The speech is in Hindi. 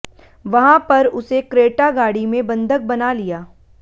वहां पर उसे क्रेटा गाड़ी में बंधक बना लिया